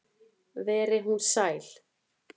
Veri hún sæl.